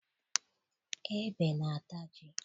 Ebe na-ata ji.